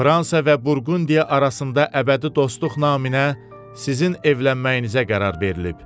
Fransa və Burqundiya arasında əbədi dostluq naminə sizin evlənməyinizə qərar verilib.